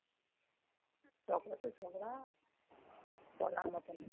ঝগড়া তো ঝগড়া বলার মতন না।